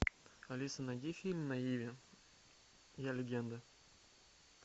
алиса найди фильм на иви я легенда